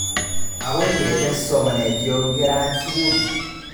Akoi ketes somanet yo kerat skuli